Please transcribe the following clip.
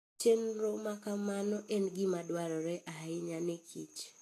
Chenro ma kamano en gima dwarore ahinya ne kich.